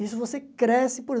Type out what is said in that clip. Isso você cresce por